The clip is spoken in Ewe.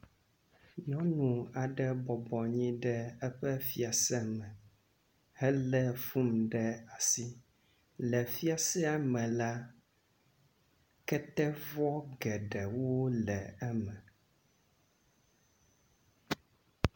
nyɔnu aɖe bɔbɔ anyi ɖe eƒe fiase me hele fun ɖe asi le fiasea me la ketevɔ geɖewo le eme